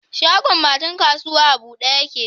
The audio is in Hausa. Shagon matan kasuwa a bude yake?